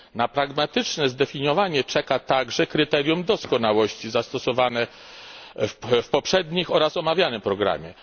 Na pragmatyczne zdefiniowanie czeka także kryterium doskonałości zastosowane w poprzednim oraz omawianym programie.